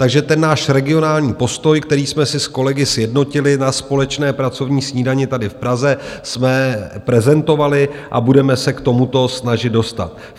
Takže ten náš regionální postoj, který jsme si s kolegy sjednotili na společné pracovní snídani tady v Praze, jsme prezentovali a budeme se k tomu snažit dostat.